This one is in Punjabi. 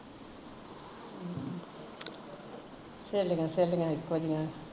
ਸਹੇਲੀਆ ਸਹੇਲੀਆ ਇੱਕੋ ਜਹੀਆ